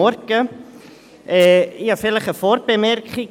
Ich habe eine Vorbemerkung: